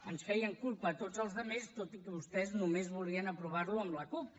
ens feien culpa a tots els altres tot i que vostès només volien aprovar lo amb la cup